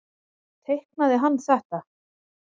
Teiknaði hann þetta?